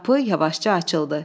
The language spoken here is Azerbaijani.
Qapı yavaşca açıldı.